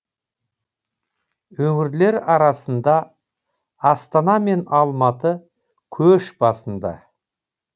өңірлер арасында астана мен алматы көш басында